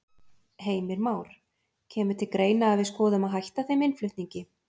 Heimir Már: Kemur til greina að við skoðum að hætta þeim innflutningi?